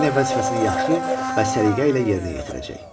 Yenə vəzifəsini yaxşı və səliqə ilə yerinə yetirəcək.